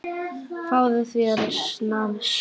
Fáðu þér snafs!